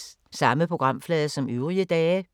Samme programflade som øvrige dage